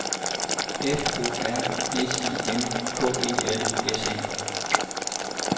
F O R S I N K E L S E